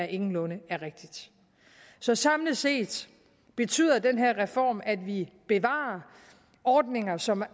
ingenlunde er rigtigt så samlet set betyder den her reform at vi bevarer ordninger som